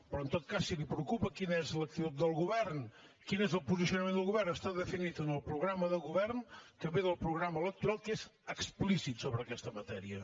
però en tot cas si el preocupa quina és l’actitud del govern quin és el posicionament del govern està definit en el programa de govern que ve del programa electoral que és explícit sobre aquesta matèria